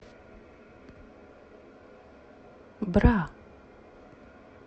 бра